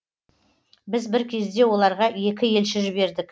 біз бір кезде оларға екі елші жібердік